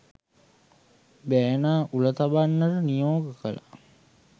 බෑනා උල තබන්නට නියෝග කළා.